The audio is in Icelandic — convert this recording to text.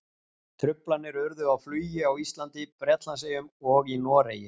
Truflanir urðu á flugi á Íslandi, Bretlandseyjum og í Noregi.